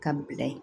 Ka bila ye